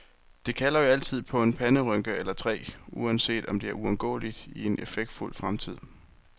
Det kalder jo altid på en panderynke eller tre, uanset om det er uundgåeligt i en effektfuld fremtid.